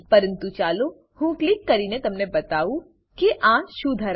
પરંતુ ચાલો હું ક્લિક કરીને તમને બતાવું કે આ શું ધરાવે છે